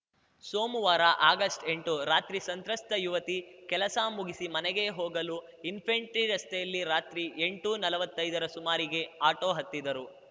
ಸೋಮುವಾರ ಆಗಸ್ಟ್ಎಂಟು ರಾತ್ರಿ ಸಂತ್ರಸ್ತ ಯುವತಿ ಕೆಲಸ ಮುಗಿಸಿ ಮನೆಗೆ ಹೋಗಲು ಇನ್ಫೆಂಟ್ರಿ ರಸ್ತೆಯಲ್ಲಿ ರಾತ್ರಿ ಎಂಟುನಲ್ವತ್ತೈದರ ಸುಮಾರಿಗೆ ಆಟೋ ಹತ್ತಿದ್ದರು